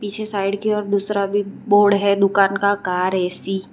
पीछे साइड की और दूसरा भी बोर्ड है दुकान का कार ए_सी --